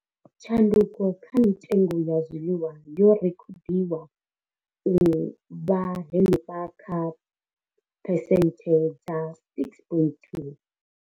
Tshanduko kha mitengo ya zwiḽiwa yo rekhodiwa u vha henefha kha phesenthe dza 6.2.